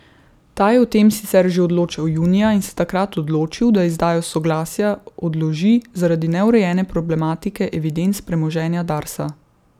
Ta je o tem sicer že odločal junija in se takrat odločil, da izdajo soglasja odloži zaradi neurejene problematike evidenc premoženja Darsa.